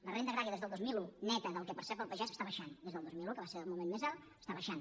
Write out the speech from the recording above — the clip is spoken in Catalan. la renda agrària des del dos mil un neta del que percep el pagès està baixant des del dos mil un que va ser el moment més alt està baixant